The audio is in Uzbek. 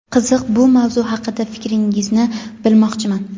Qiziq bir mavzu haqida fikringizni bilmoqchiman.